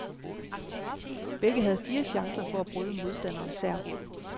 Begge havde fire chancer for at bryde modstanderens serv.